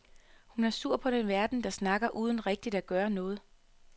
Hun er sur på den verden, der snakker uden rigtigt at gøre noget.